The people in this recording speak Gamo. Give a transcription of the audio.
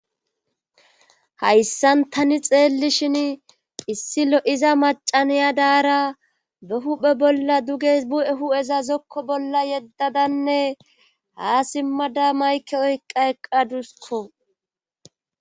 hayssan tani xeelli shin issilo7iza macaniya daara be huphe bolla duges bu7e hu7eza zokko bolla yeddadanne haa simmada mayke oykqa eqqadusko